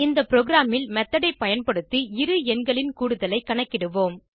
இந்த ப்ரோகிராமில் மெத்தோட் ஐ பயன்படுத்தி இரு எண்களின் கூடுதலை கணக்கிடுவோம்